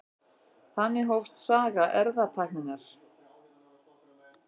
Þannig hófst saga erfðatækninnar.